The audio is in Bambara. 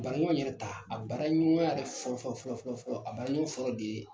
Ka baraɲɔgɔn yɛrɛ ta , a baraɲɔgɔn yɛrɛ fɔlɔ fɔlɔ fɔlɔ , a bara ɲɔgɔn fɔlɔ de ye